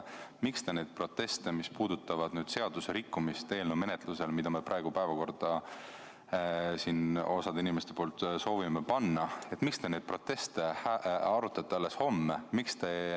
Miks te neid proteste, mis puudutavad seadusrikkumist ühe eelnõu menetlusel, mida me praegu osa inimestega soovime päevakorda panna, arutate alles homme?